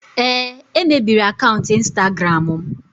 Ee, e mebiri akaụntụ Instagram m.